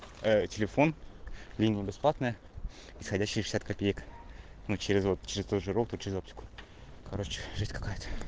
телефон линия бесплатная приходящиеся копейка ну через год через ж через аптеку короче жесть какая